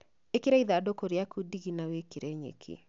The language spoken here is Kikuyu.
Ĩkĩra ithandũkũ rĩaku ndigi na wĩkĩre nyeki